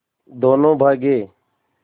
दोनों भागे